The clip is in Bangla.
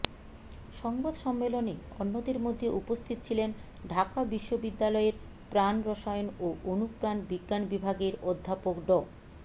সংবাদ সম্মেলনে অন্যদের মধ্যে উপস্থিত ছিলেন ঢাকা বিশ্ববিদ্যালয়ের প্রাণরসায়ন ও অনুপ্রাণ বিজ্ঞান বিভাগের অধ্যাপক ড